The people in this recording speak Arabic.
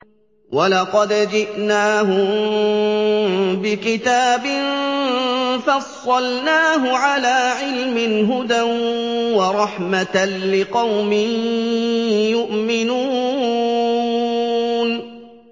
وَلَقَدْ جِئْنَاهُم بِكِتَابٍ فَصَّلْنَاهُ عَلَىٰ عِلْمٍ هُدًى وَرَحْمَةً لِّقَوْمٍ يُؤْمِنُونَ